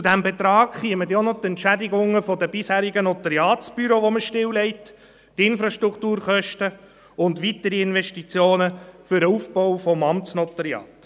Zu diesem Betrag kämen dann auch noch die Entschädigungen der bisherigen Notariatsbüros, die man stilllegt, hinzu, die Infrastrukturkosten und weitere Investitionen für den Aufbau des Amtsnotariats.